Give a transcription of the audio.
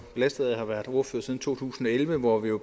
belastet af at have været ordfører siden to tusind og elleve hvor vi jo